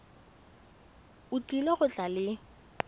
o tlile go tla le